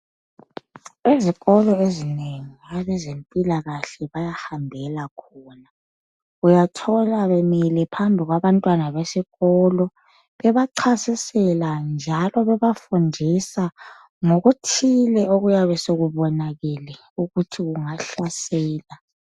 Izikolo ezinengi abezempilakahle bayahambela khona. Uyathola bemile phambi kwabantwana besikolo bebacasisela njalo bebafundisa ngokuthile okuyabe sekubona ukuthi kungahlasela.